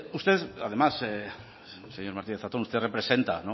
usted además señor martínez zatón usted representa